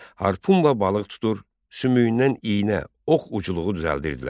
Harpunla balıq tutur, sümüyündən iynə, ox ucluğu düzəldirdilər.